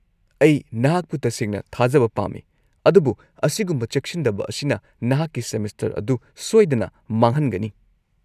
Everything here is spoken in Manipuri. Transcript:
-ꯑꯩ ꯅꯍꯥꯛꯄꯨ ꯇꯁꯦꯡꯅ ꯊꯥꯖꯕ ꯄꯥꯝꯃꯤ, ꯑꯗꯨꯕꯨ ꯑꯁꯤꯒꯨꯝꯕ ꯆꯦꯛꯁꯤꯟꯗꯕ ꯑꯁꯤꯅ ꯅꯍꯥꯛꯀꯤ ꯁꯦꯃꯤꯁꯇꯔ ꯑꯗꯨ ꯁꯣꯏꯗꯅ ꯃꯥꯡꯍꯟꯒꯅꯤ꯫